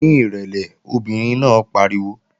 Ní ìrẹ̀lẹ̀! Obìnrin náà pariwo